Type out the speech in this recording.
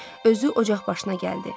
Özü ocaq başına gəldi.